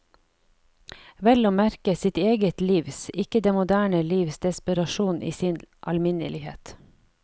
Vel å merke sitt eget livs, ikke det moderne livs desperasjon i sin alminnelighet.